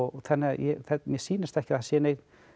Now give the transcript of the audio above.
þannig að mér sýnist ekki að það séu nein